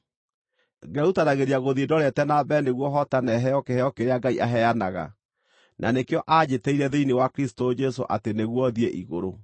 ngerutanagĩria gũthiĩ ndorete na mbere nĩguo hootane heo kĩheo kĩrĩa Ngai aheanaga, na nĩkĩo aanjĩtĩire thĩinĩ wa Kristũ Jesũ atĩ nĩguo thiĩ igũrũ.